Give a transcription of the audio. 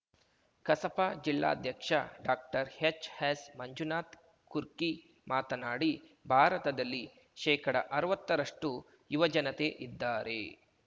ಕಸಾಪ ಜಿಲ್ಲಾಧ್ಯಕ್ಷ ಡಾಕ್ಟರ್ಹೆಚ್‌ಎಸ್‌ಮಂಜುನಾಥ ಕುರ್ಕಿ ಮಾತನಾಡಿ ಭಾರತದಲ್ಲಿ ಶೇಕಡಅರ್ವತ್ತರಷ್ಟು ಯುವಜನತೆ ಇದ್ದಾರೆ